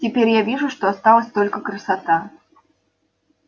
теперь я вижу что осталась только красота